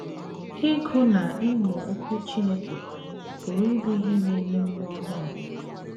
Ịgụ na ịmụ Okwu Chineke pụrụ ịbụ ihe na - enye ume ọhụrụ.